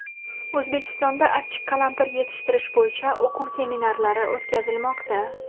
O‘zbekistonda achchiq qalampir yetishtirish bo‘yicha o‘quv-seminarlari o‘tkazilmoqda.